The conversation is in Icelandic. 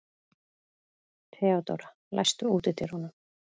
Theodóra, læstu útidyrunum.